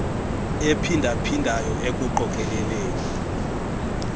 ephinda phindayo ekuqokeleleni